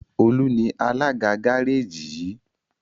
Olu ní Alága Gáréèjì yi.